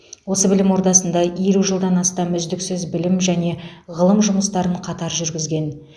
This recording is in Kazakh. осы білім ордасында елу жылдан астам үздіксіз білім және ғылым жұмыстарын қатар жүргізген